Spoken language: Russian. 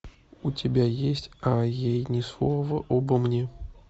у тебя есть а ей ни слова обо мне